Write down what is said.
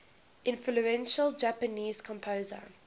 influential japanese composer